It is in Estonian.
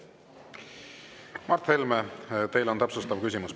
Mart Helme, teil on täpsustav küsimus.